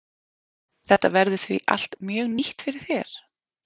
Þetta verður því allt mjög nýtt fyrir þér?